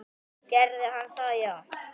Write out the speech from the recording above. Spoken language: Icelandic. Gerði hann það já?